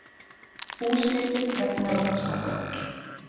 Húsleitir vegna Landsbanka